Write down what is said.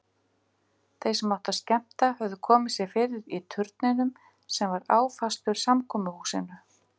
Þeir sem áttu að skemmta höfðu komið sér fyrir í turninum sem var áfastur samkomuhúsinu.